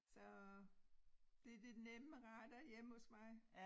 Så det de nemme retter hjemme hos mig